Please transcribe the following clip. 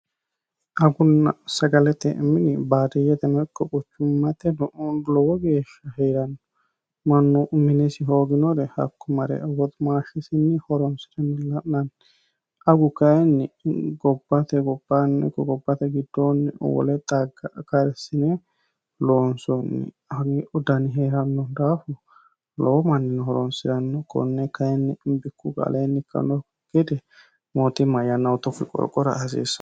agunn sagalete mini baariyyete meqqoquchummate nun lowo geeshsha hie'ranno manno uminesi hooginore hakku mare woximaashshisinni horonsi're milla'nanni agu kayinni gobbate gobbaannego gobbate giddoonni wole xagga karsine loonsonni dani hee'ranno daafu lowo mannini horonsi'ranno konne kayinni imbikku gaaleenni kanno gede mootimma yannaho tokki qorqora hasiissa